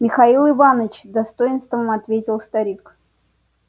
михаил иванович с достоинством ответил старик